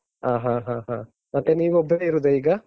ಹ, ಹ, ಹ, ಹ. ಮತ್ತೆ ನೀವು ಒಬ್ಬರೇ ಇರುವುದ ಈಗ?